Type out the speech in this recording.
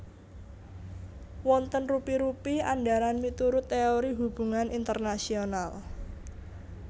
Wonten rupi rupi andharan miturut teori hubungan internasional